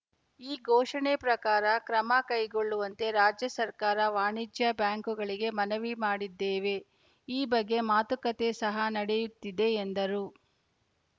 ಈ ಘೋಷಣೆ ಪ್ರಕಾರ ಕ್ರಮ ಕೈಗೊಳ್ಳುವಂತೆ ರಾಜ್ಯ ಸರ್ಕಾರ ವಾಣಿಜ್ಯ ಬ್ಯಾಂಕುಗಳಿಗೆ ಮನವಿ ಮಾಡಿದ್ದೇವೆ ಈ ಬಗ್ಗೆ ಮಾತುಕತೆ ಸಹ ನಡೆಯುತ್ತಿದೆ ಎಂದರು